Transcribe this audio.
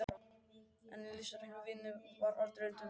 En í listrænni vinnu var aldrei undan vikið.